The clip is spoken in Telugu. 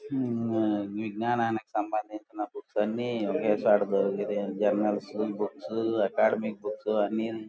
హ్మ్ విఙ్నానానికి సంబంధిచిన బుక్స్ అన్ని ఒకేచోట దొరుకుతాయి. Generals books academy books అన్నీని--